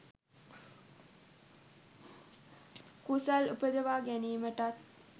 කුසල් උපදවා ගැනීමටත්